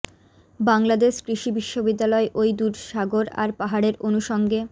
বাংলাদেশ কৃষি বিশ্ববিদ্যালয় ওই দূর সাগর আর পাহাড়ের অনুসঙ্গে